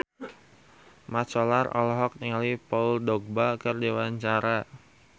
Mat Solar olohok ningali Paul Dogba keur diwawancara